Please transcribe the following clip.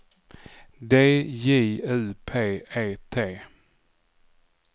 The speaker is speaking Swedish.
D J U P E T